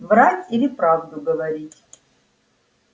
врать или правду говорить